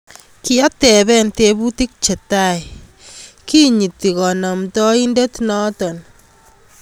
Kiatepen teputik chetai kinyiti kanaptaindet noto.